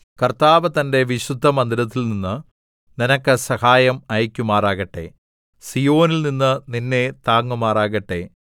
കർത്താവ് തന്റെ വിശുദ്ധമന്ദിരത്തിൽ നിന്ന് നിനക്ക് സഹായം അയയ്ക്കുമാറാകട്ടെ സീയോനിൽനിന്ന് നിന്നെ താങ്ങുമാറാകട്ടെ